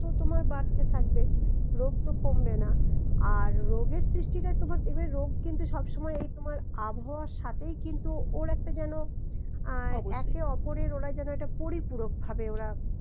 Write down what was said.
তো তোমার বাড়তে থাকবে রোগ তো কমবে না আর রোগের সৃষ্টিতে তোমার দেখবে রোগ কিন্তু সবসময় এই তোমার আবহাওয়ার সাথেই কিন্তু ওর একটা যেন আহ অবশ্যই একে অপরের ওরাই যেন পরিপূরক ভাবে ওরা